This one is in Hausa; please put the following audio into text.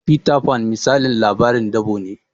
Fita Fan misalin labarin dabo ne